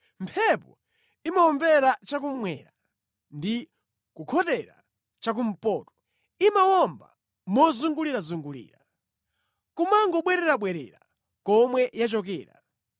Mphepo imawombera cha kummwera ndi kukhotera cha kumpoto; imawomba mozungulirazungulira, kumangobwererabwerera komwe yachokera.